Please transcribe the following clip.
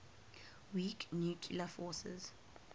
weak nuclear force